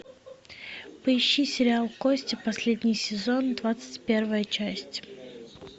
поищи сериал кости последний сезон двадцать первая часть